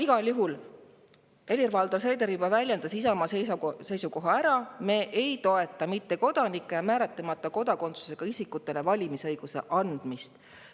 Igal juhul Helir-Valdor Seeder juba väljendas Isamaa seisukoha ära: me ei toeta mittekodanike ja määratlemata kodakondsusega isikute valimisõigust.